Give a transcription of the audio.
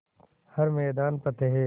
हर मैदान फ़तेह